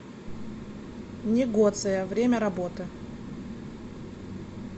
негоция время работы